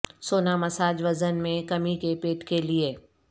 سونا مساج وزن میں کمی کے پیٹ کے لئے